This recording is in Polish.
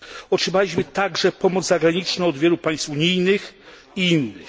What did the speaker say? Otrzymaliśmy także pomoc zagraniczną od wielu państw unijnych i innych.